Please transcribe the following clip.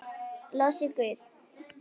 Lof sé þér, Guð.